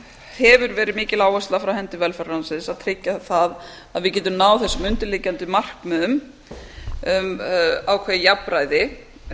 hefur verið mikil áhersla frá hendi velferðarráðuneytisins að tryggja það að við getum náð þessum undirliggjandi markmiðum um ákveðið jafnræði og